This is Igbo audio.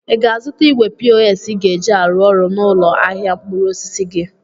Ị ga-azụta igwe pos ị ga-eji alụ ọrụ n'ụlọ ahịa mkpụrụ osisi gị?